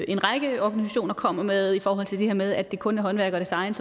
en række organisationer kommer med i forhold til det her med at det kun er håndværk og design